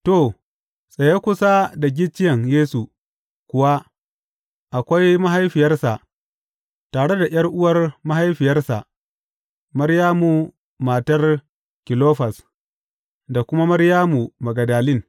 To, tsaye kusa da gicciyen Yesu kuwa akwai mahaifiyarsa, tare da ’yar’uwar mahaifiyarsa, Maryamu matar Kilofas, da kuma Maryamu Magdalin.